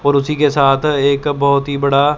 और उसी के साथ एक बहुत ही बड़ा--